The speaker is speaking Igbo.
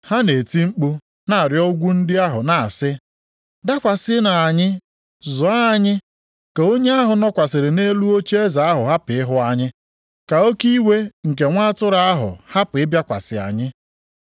ha na-eti mkpu na-arịọ ugwu ndị ahụ na-asị, “Dakwasịnụ anyị zoo anyị ka onye ahụ nọkwasịrị nʼelu ocheeze ahụ hapụ ịhụ anyị, ka oke iwe nke Nwa Atụrụ ahụ hapụ ịbịakwasị anyị.